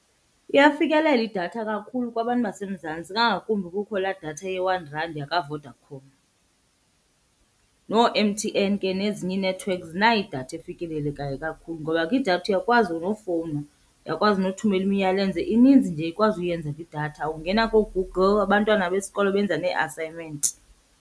Iyafikelela idatha kakhulu kwabantu baseMzantsi kangakumbi kukho laa datha ye-one rand yakwaVodacom. NooMTN ke nezinye iinethiwekhi zinayo idatha efikelelekayo kakhulu ngoba kwidatha uyakwazi nofowuna uyakwazi nothumela imiyalezo. Ininzi nje okwazi uyenza kwidatha, ungena kooGoogle abantwana besikolo benza nee-assignment.